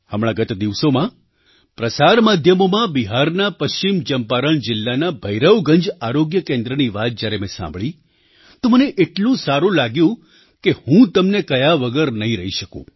હમણાં ગત દિવસોમાં પ્રસાર માધ્યમોમાં બિહારના પશ્ચિમ ચંપારણ જિલ્લાના ભૈરવગંજ આરોગ્ય કેન્દ્રની વાત જ્યારે મેં સાંભળી તો મને એટલું સારું લાગ્યું કે હું તમને કહ્યા વગર નહીં રહી શકું